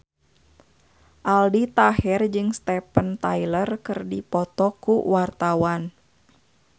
Aldi Taher jeung Steven Tyler keur dipoto ku wartawan